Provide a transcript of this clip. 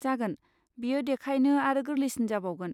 जागोन, बेयो देखायनो आरो गोरलैसिन जाबावगोन।